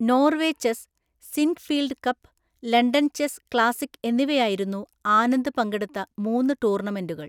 Norway chess, Sinquefield cup, London chess classic എന്നിവയായിരുന്നു ആനന്ദ് പങ്കെടുത്ത മൂന്ന് ടൂർണമെന്റുകൾ.